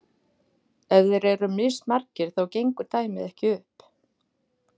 ef þeir eru mismargir þá gengur dæmið ekki upp